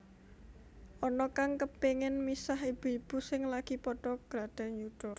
Ana kang kepengin misah ibu ibu sing lagi padha gladhen yuda